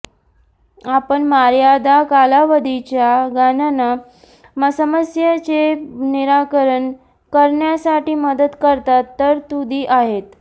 आपण मर्यादा कालावधीच्या गणना समस्येचे निराकरण करण्यासाठी मदत करतात तरतुदी आहेत